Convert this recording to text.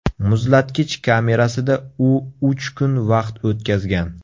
Muzlatkich kamerasida u uch kun vaqt o‘tkazgan.